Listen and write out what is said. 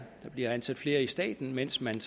der bliver ansat flere i staten mens man